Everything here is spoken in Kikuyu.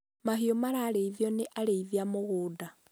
mahiũ marareithio nĩ areithia mũgũnda